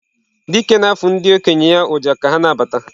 Dike na-afụ ndị okenye ya ọjà ka ha na-abata.